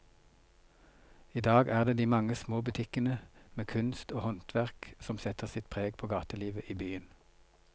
I dag er det de mange små butikkene med kunst og håndverk som setter sitt preg på gatelivet i byen.